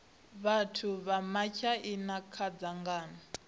vhathu vha matshaina kha dzangano